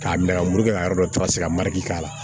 K'a nɛgɛ muru kɛ ka yɔrɔ dɔ tilase ka marɛ k'a la